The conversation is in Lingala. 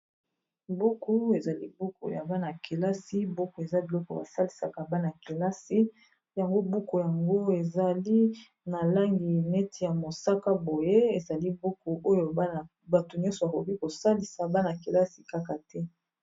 Buku ezali buku ya bana kelasi buku eza biloko basalisaka bana-kelasi yango buku yango ezali na langi neti ya mosaka boye ezali buku oyo bato nyonso bakoki kosalisa bana-kelasi kaka te.